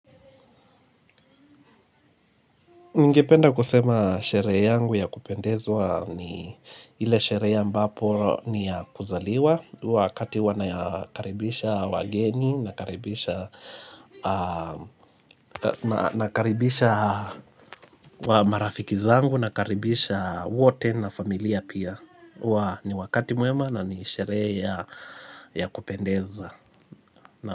Ningependa kusema sherehe yangu ya kupendezwa ni ile sherehe ambapo ni ya kuzaliwa wakati huwa na yakaribisha wageni, nakaribisha nakaribisha wa marafiki zangu, nakaribisha wote na familia pia. Ni wakati mwema na ni sherehe ya ya kupendeza.